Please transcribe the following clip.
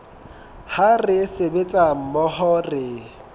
ha re sebetsa mmoho re